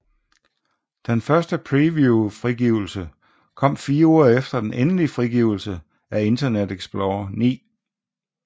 Den første preview frigivelse kom fire uger efter den endelige frigivelse af Internet Explorer 9